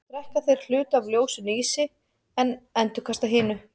Þá drekka þeir hluta af ljósinu í sig en endurkasta hinu.